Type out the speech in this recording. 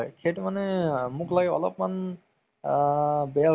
নতুন movies যদি চালমান খানৰ agent